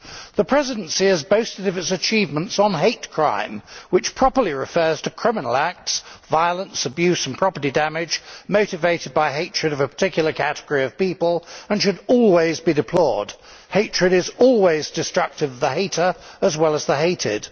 The Presidency has boasted of its achievements on hate crime, which properly refers to criminal acts, violence, abuse and property damage motivated by hatred of a particular category of people, and should always be deplored. Hatred is always destructive of the hater as well as the hated.